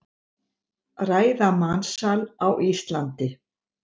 Ræða mansal á Íslandi